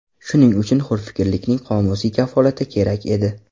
Shuning uchun hurfikrlikning qomusiy kafolati kerak edi.